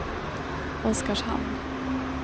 Oskarshamn